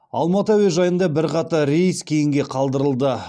алматы әуежайында бірқатар рейс кейінге қалдырылды